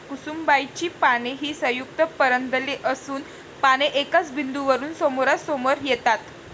कुसुम्बाची पाने ही संयुक्त पर्णदले असून पाने एकाच बिंदू वरून समोरासमोर येतात.